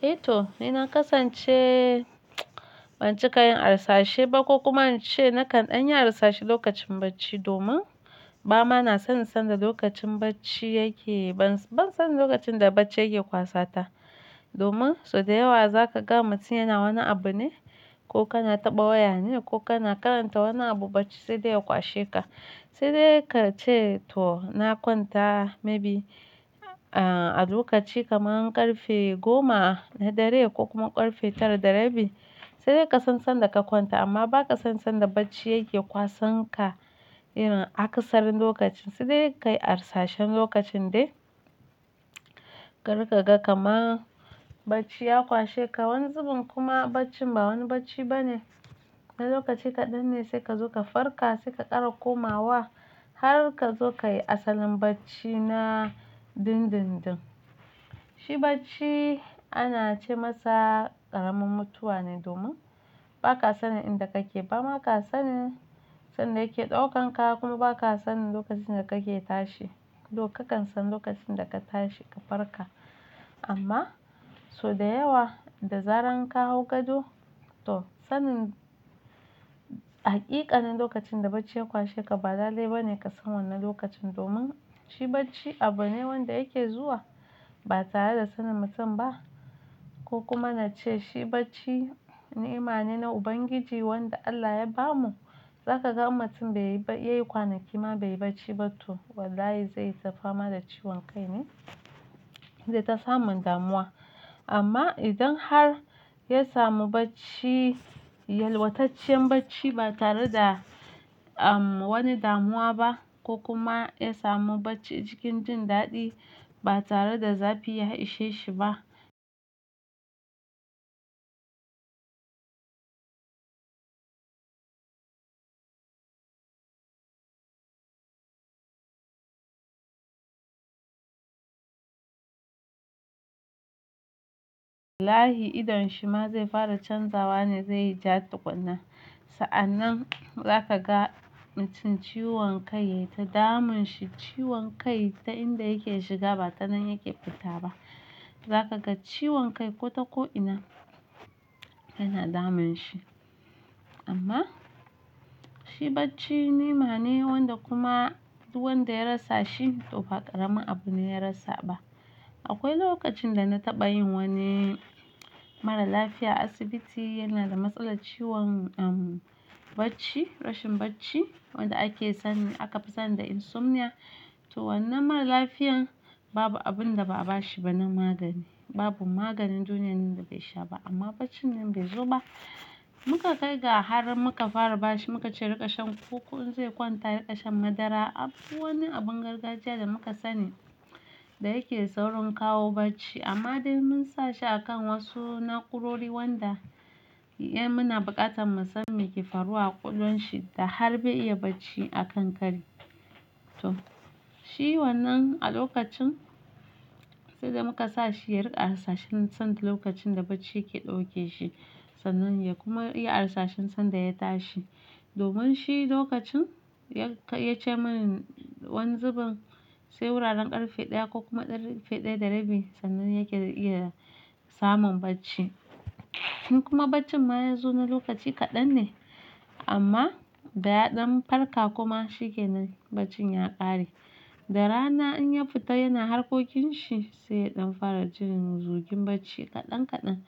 Eh to, ni na kasance ban cika yin arsashe ba ko kuma ince nakan ɗanyi arsashe lokacin bacci domin ba ma na son san da lokacin bacci yake. Ban son lokacin da bacci yake kwasata domin sau da yawa zaka ga mutum yana wani abu ne ko kana taɓa waya ne ko kana karanta wani abu, bacci sai dai ya kwashe ka. Sai dai ka ce to na kwanta maybe a lokaci kamar ƙarfe goma na dare ko kuma ƙarfe tara da rabi. Sai dai ka san sanda ka kwanta amma ba ka san sanda bacci yake kwasanka. Irin akasarin lokacin sai dai ka yi arsashen lokacin dai. Kar ka ga kama bacci ya kwashe ka wani zubin kuma baccin ba wani bacci ba ne. Ɗan lokaci kaɗan ne sai ka zo ka farka, sai ka ƙara komawa har kazo kayi asalin bacci na dundundun. Shi bacci ana ce masa ƙaramin mutuwa ne domin baka sanin inda kake ba, ba ma ka sanin sanda yake ɗaukan ka kuma ba ka sanin lokacin da kake tashi. Though ka kan san lokacin da ka tashi ka farka amma sau da yawa da zaran ka hau gado to sanin haƙiƙanin lokacin da bacci ya ƙwashe ka ba lale bane ka san wannan lokacin domin shi bacci abu ne wanda yake zuwa ba tare da sanin mutum ba. Ko kuma na ce shi bacci ni'ima ne na Ubangiji wanda Allah ya bamu. Za ka ga in mutum baiyi yayi kwanaki ma bai yi bacci ba to wallahi zai ta fama da ciwon kai ne zai ta samun damuwa. Amma idan har ya samu bacci, yalwataccen bacci ba tare da, wani damuwa ba ko kuma ya samu bacci cikin jin daɗi ba tare da zafi ya ishe shi ba. Wallahi idan shi ma zai fara canzawa ne zai ja tuƙunna. Sa'an nan za ka ga mutum ciwon kai yai ta damun shi. Ciwon kai ta inda yake shiga ba ta nan yake fita ba. Za ka ga ciwon kai ko ta ko'ina yana damun shi. Amma shi bacci ni'ima ne wanda kuma wanda ya rasa shi to fa ƙaramin abu ne ya rasa ba. Akwai lokacin da na taɓa yin wani mara lafiya asibiti yana da matsalar ciwon, bacci, rashin bacci wanda ake san, aka fi san da insomnia. To wannan mara lafiyan babu abun da ba'a bashi ba na magani. Babu maganin duniyoyin da bai sha ba amma baccin nan bai zo ba. Mu ka kai ga har muka fara bashi, muka ce riƙa shan kuku in zai kwanta, riƙa shan madara. Abu, wani abun gargajiya da muka sani da yake saurin kawo bacci amma dai mun sa shi a kan wasu naƙorori wanda ya muna buƙatar mu san me ke faruwa a ƙwalwan shi da har bai iya bacci a kan kari. To shi wannan a lokacin sai da muka sa shi ya riƙa arsashen sanda lokacin da bacci yake ɗauke shi sannan ya kuma iya arsashen sanda ya tashi. Domin shi lokacin ya ce mani wani zubin sai wuraren ƙarfe ɗaya ko kuma ƙarfe ɗaya da rabi sannan yake da iya samun bacci. Kuma baccin ma ya zo na lokaci kaɗan ne amma da ya ɗan farka kuma shi kenan baccin ya ƙare. Da rana in ya fita yana harkokin shi sai ɗan fara jin zugin bacci kaɗan kaɗan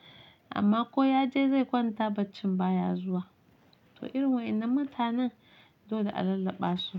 amma ko ya je zai kwanta baccin ba ya zuwa. To irin waɗannan mutanen dole a lallaɓa su.